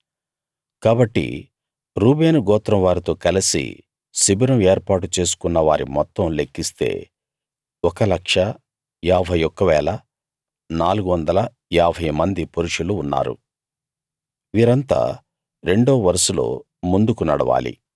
కాబట్టి రూబేను గోత్రం వారితో కలసి శిబిరం ఏర్పాటు చేసుకున్న వారి మొత్తం లెక్కిస్తే 1 51 450 మంది పురుషులు ఉన్నారు వీళ్ళంతా రెండో వరుసలో ముందుకు నడవాలి